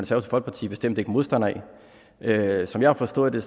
folkeparti bestemt ikke modstandere af som jeg har forstået det